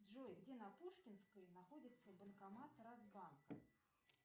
джой где на пушкинской находится банкомат росбанк